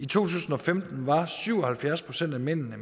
tusind og femten var syv og halvfjerds procent af mændene